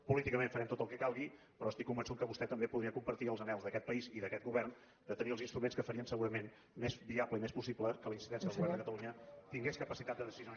políticament farem tot el que calgui però estic convençut que vostè també podria compartir els anhels d’aquest país i d’aquest govern de tenir els instruments que farien segurament més viable i més possible que la incidència del govern de catalunya tingués capacitat de decisió